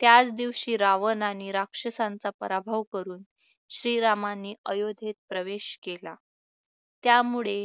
त्याचदिवशी रावणाने राक्षसांचा पराभव करून श्री रामांनी अयोध्येत प्रवेश केला त्यामुळे